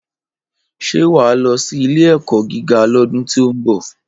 Ṣé wà á lọ sí ilé-ẹ̀kọ́ gíga lọ́dún tí ó ń bọ̀?